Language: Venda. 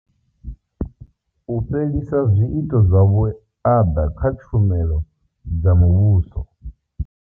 U fhelisa zwiito zwa vhuaḓa kha tshumelo dza muvhuso.